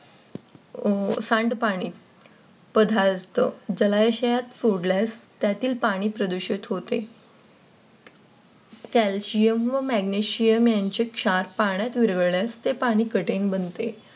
सांडपाणी पदार्थ सोडल्यास त्यातील पाणी प्रदूषित होते. Calcium व Magnesium यांचे क्षार पाण्यात विरघळल्यास ते पाणी कठीण बनते.